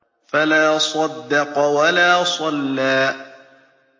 فَلَا صَدَّقَ وَلَا صَلَّىٰ